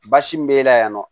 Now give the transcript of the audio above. Basi min b'e la yan nɔ